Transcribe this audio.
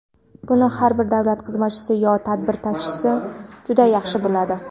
Buni har bir davlat xizmatchisi yo tadbir ta’sischisi juda yaxshi biladi.